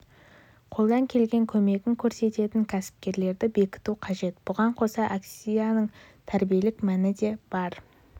қолдан келген көмегін көрсететін кәсіпкерлерді бекіту қажет бұған қоса акцияның тәрбиелік мәні де бар әр